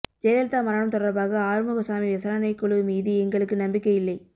ஜெயலலிதா மரணம் தொடர்பாக ஆறுமுகசாமி விசாரணைக்குழு மீது எங்களுக்கு நம்பிக்கை இல்லை